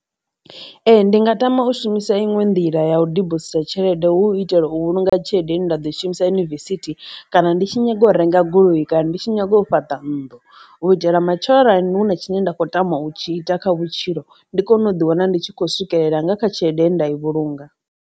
Ee ndi nga tama u shumisa iṅwe nḓila ya u dibositha tshelede hu u itela u vhulunga tshelede nda ḓo shumisa yunivesithi, kana ndi tshi nyaga u renga goloi, kana ndi tshi nyaga u fhaṱa nnḓu u itela matshelo arali huna tshine nda khou tama u tshi ita kha vhutshilo ndi kone u ḓi wana ndi tshi khou swikelela nga kha tshelede ye nda i vhulunga.